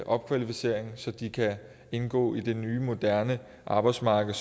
opkvalificering så de kan indgå i det nye moderne arbejdsmarked